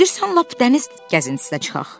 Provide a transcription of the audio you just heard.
İstəyirsən lap dəniz gəzintisinə çıxaq.